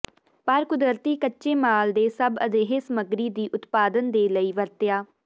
ਪਰ ਕੁਦਰਤੀ ਕੱਚੇ ਮਾਲ ਦੇ ਸਭ ਅਜਿਹੇ ਸਮੱਗਰੀ ਦੀ ਉਤਪਾਦਨ ਦੇ ਲਈ ਵਰਤਿਆ